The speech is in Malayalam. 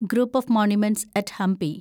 group of monuments at Hampi